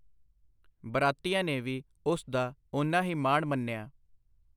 ਬਰਾਤੀਆਂ ਨੇ ਵੀ ਉਸ ਦਾ ਉਨਾ ਹੀ ਮਾਣ ਮੰਨਿਆ।